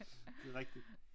Det er rigtigt